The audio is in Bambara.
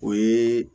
O ye